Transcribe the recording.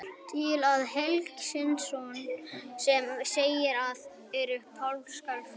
Til er helgisögn sem segir að eitt sinn hafi páskaliljurnar verið hvítar.